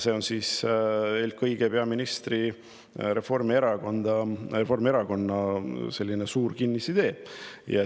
See on eelkõige peaministri ja Reformierakonna suur kinnisidee.